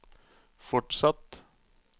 fortsatt